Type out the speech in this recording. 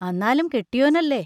അന്നാലും കെട്ടിയോനല്ലേ?